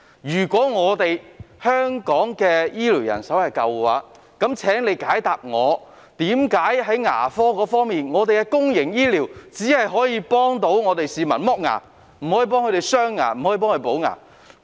如果香港醫療人手足夠，請問在牙科服務中，為何公營醫療只能為市民剝牙，而不可為他們鑲牙或補牙呢？